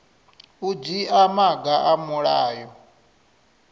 u dzhia maga a mulayo